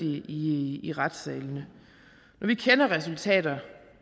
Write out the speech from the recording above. i i retssalene når vi kender resultater